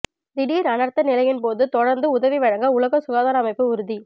திடீர் அனர்த்த நிலையின்போது தொடர்ந்து உதவிவழங்க உலக சுகாதார அமைப்பு உறுதி